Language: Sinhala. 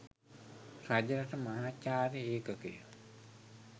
රජරට මහාචාර්ය ඒකකය